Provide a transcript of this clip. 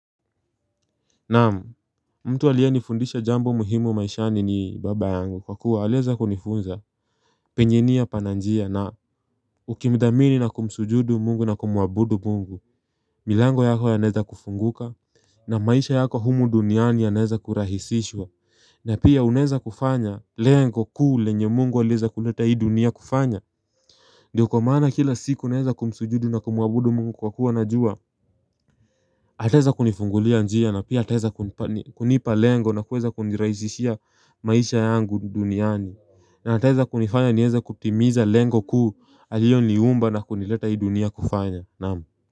Naam, mtu aliyenifundisha jambo muhimu maishani ni baba yangu kwa kuwa aliweza kunifunza penye nia pana njia na Ukimdhamini na kumsujudu mungu na kumuabudu mungu, milango yako yanaweza kufunguka na maisha yako humu duniani yanaweza kurahisishwa na pia unaweza kufanya lengo kuu lenye mungu aliweza kuleta hii dunia kufanya Ndiyo kwa maana kila siku naweza kumsujudu na kumuabudu mungu kwa kuwa najua ataweza kunifungulia njia na pia ataweza kunipa lengo na kuweza kunirahisishia maisha yangu duniani na ataweza kunifanya niweze kutimiza lengo kuu aliyoniumba na kunileta hii dunia kufanya.